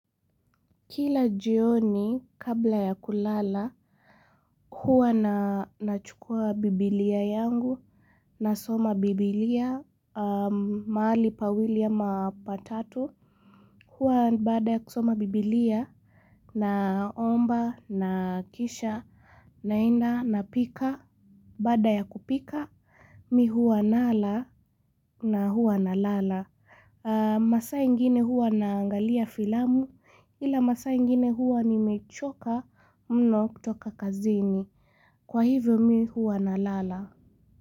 Kila jioni kabla ya kulala, huwa na nachukua bibilia yangu, nasoma bibilia, mahali pawili ama patatu, huwa baada ya kusoma bibilia, naomba, na kisha, naenda, napika, baada ya kupika, mi huwa nala na huwa nalala. Masaa ingine huwa naangalia filamu ila masaa ingine huwa nimechoka mno kutoka kazini. Kwa hivyo mi huwa na lala.